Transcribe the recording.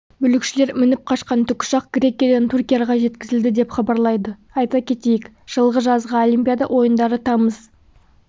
бүлікшілер мініп қашқан тікұшақ грекиядан түркияға жеткізілді деп хабарлайды айта кетейік жылғы жазғы олимпиада ойындары тамыз